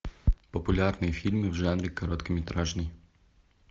популярные фильмы в жанре короткометражный